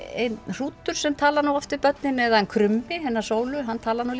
hrútur sem talar nú oft við börnin er hann krummi hennar sólu hann talar nú